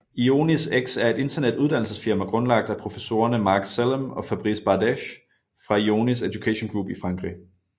IONISx er et internet uddannelsesfirma grundlagt af professorerne Marc Sellam og Fabrice Bardeche fra IONIS Education Group i Frankrig